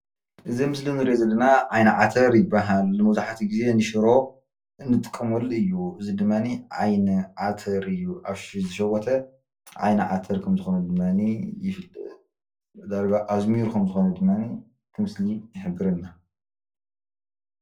እዚ ኣብ ምስሊ እንሪኦ ዘለና ዓይኒ ዓተር ይባሃል፡፡ መብዛሕትኡ ግዜ ንሽሮ እንጥቀመሉ እዩ፡፡ እዚ ድማ ዓይኒ ዓተር እዩ፡፡ ኣብ ዝሸወተ ዓይኒ ዓተር ከም ዝኮነ ድማ ይፍለጥ ዳርጋ ኣዝሚሩ ከም ዝኮነ ድማ እቲ ምስሊ ይሕብረና፡፡